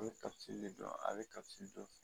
A bɛ kasi de a bɛ kasi dɔn